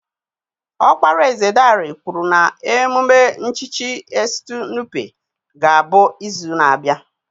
Ọkpara eze Dare kwuru na emume nchichi Estu Nupe ga-abụ izu na-abịa